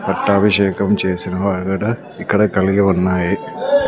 పట్టాభిషేకం చేసిన ఇక్కడ కలిగి ఉన్నాయి.